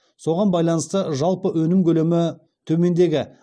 соған байланысты жалпы өнім көлемі төмендегі